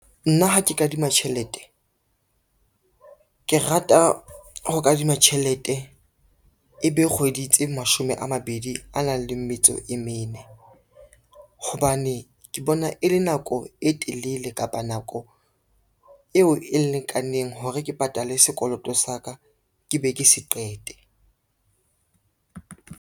Nna ha ke kadima tjhelete, ke rata ho kadima tjhelete e be kgwedi tse mashome a mabedi a nang le metso e mene, hobane ke bona e le nako e telele kapa nako eo e lekaneng hore ke patale sekoloto sa ka, ke be ke se qete.